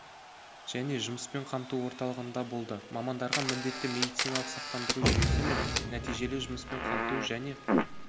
және жұмыспен қамту орталығында болды мамандарға міндетті медициналық сақтандыру жүйесі мен нәтижелі жұмыспен қамту және